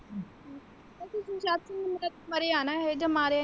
ਮਰਿਆ ਹੈ ਨਾ ਮਾਰਿਆ ਨਹੀਂ।